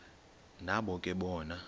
nabo ke bona